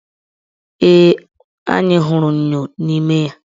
Ee, anyị hụrụ enyo n' ime ya.